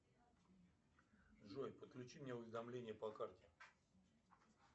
джой подключи мне уведомление по карте